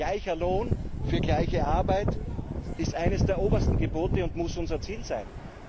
Gleicher Lohn für gleiche Arbeit ist eines der obersten Gebote und muss unser Ziel sein.